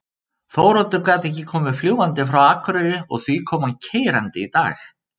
Þóroddur gat ekki komið fljúgandi frá Akureyri og því kom hann keyrandi í dag.